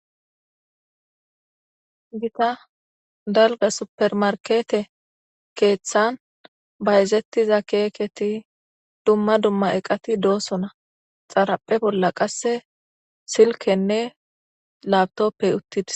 Gita dalga super markete ketan bayzetiza keketi duma duma eqati dosona xaraphe bola qase silkenne laptope utides.